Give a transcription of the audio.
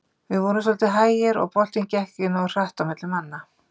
Við vorum svolítið hægir og boltinn gekk ekki nógu hratt á milli manna.